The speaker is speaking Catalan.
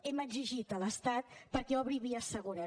hem exigit a l’estat que obri vies segures